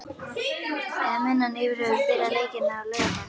Eða mun hann yfirhöfuð spila leikinn á laugardag?